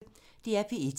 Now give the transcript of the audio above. DR P1